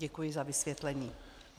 Děkuji za vysvětlení.